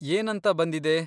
ಏನಂತ ಬಂದಿದೆ?